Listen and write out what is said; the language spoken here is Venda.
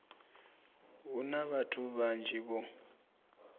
hu na vhathu vhanzhi vho